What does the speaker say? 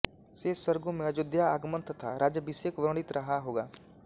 शेष सर्गो में अयोध्या आगमन तथा राज्यभिषेक वर्णित रहा होगा